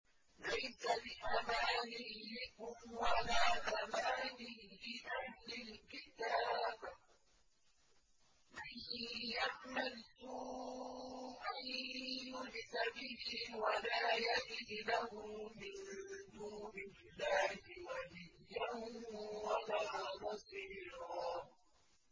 لَّيْسَ بِأَمَانِيِّكُمْ وَلَا أَمَانِيِّ أَهْلِ الْكِتَابِ ۗ مَن يَعْمَلْ سُوءًا يُجْزَ بِهِ وَلَا يَجِدْ لَهُ مِن دُونِ اللَّهِ وَلِيًّا وَلَا نَصِيرًا